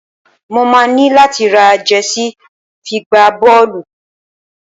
Mo máa ní láti ra jẹsí fi gbá bọ́ọ́lù.